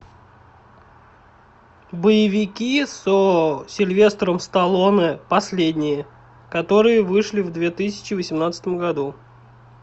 боевики со сильвестром сталлоне последние которые вышли в две тысячи восемнадцатом году